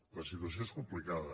la situació és complicada